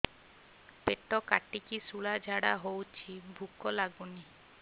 ପେଟ କାଟିକି ଶୂଳା ଝାଡ଼ା ହଉଚି ଭୁକ ଲାଗୁନି